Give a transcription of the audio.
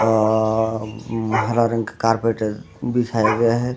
अ अ हरा रंग के कार्पेट बिछाया गया है।